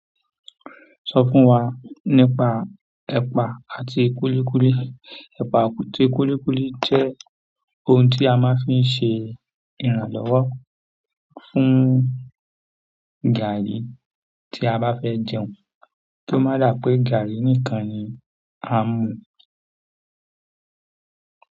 Sọ fún wa nípa ẹ̀pà àti kúlíkúlí? Ẹpa àti kúlíkúlí jẹ́ ohun tí a máa ń fi ṣe ìrànlọ́wọ́ fún gààrí tí a bá fẹ́ jẹun kí ó má dà pé gààrí nìkan ni a mú.